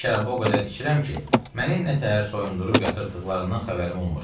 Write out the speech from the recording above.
Mən şərabı o qədər içirəm ki, məni nə təhər soyundurub yatırtdıqlarından xəbərim olmur.